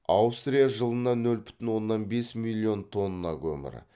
аустрия жылына нөл бүтін оннан бес миллион тонна көмір